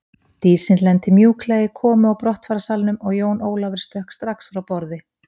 Dísin lenti mjúklega í komu og brottfararsalnum og Jón Ólafur stökk strax frá borði.